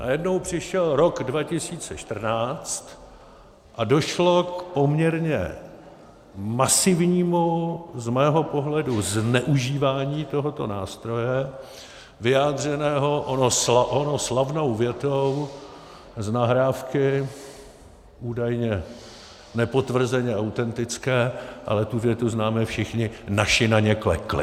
Najednou přišel rok 2014 a došlo k poměrně masivnímu z mého pohledu zneužívání tohoto nástroje vyjádřeného onou slavnou větou z nahrávky údajně nepotvrzeně autentické, ale tu větu známe všichni: Naši na ně klekli.